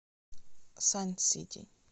сансити